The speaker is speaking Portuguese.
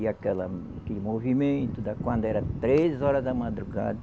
E aquela aquele movimento da, quando era três horas da madrugada.